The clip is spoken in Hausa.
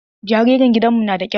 Jaririn gidan mu nada ƙiba.